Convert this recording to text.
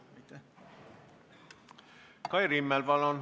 Kai Rimmel, palun!